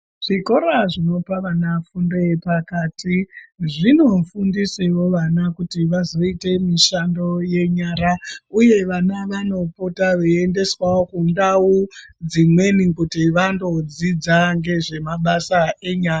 Zvikora zvinopa vana fundo yepakati zvinofundisawo vana vazoita mushando yenyara uye vana vanopota veiendeswawo kundau dzimweni kuti vandodzidza nezvemabasa enyara.